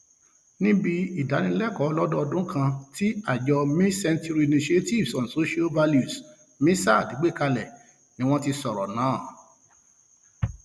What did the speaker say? níbi ìdánilẹkọọ ọlọdọdún kan tí àjọ mil century initiatives on societal values missasl gbé kalẹ ni wọn ti sọrọ náà